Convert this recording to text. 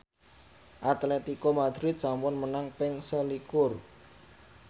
Atletico Madrid sampun menang ping selikur